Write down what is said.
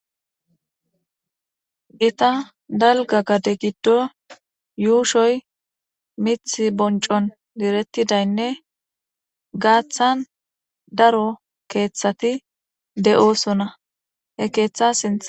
Gita dalga gade giddo yuushoy mith boncon direttidaynne gaaththan daro keeththati de7oosona he keeththa sintha.